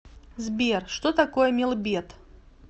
сбер что такое мелбет